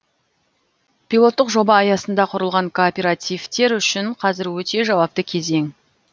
пилоттық жоба аясында құрылған кооперативтер үшін қазір өте жауапты кезең